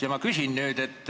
Ja ma küsin nüüd.